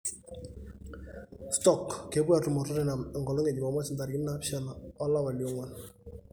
Stoke kepuo atumo o Tottenham enkolong e jumamosi 7 olapa lionguan.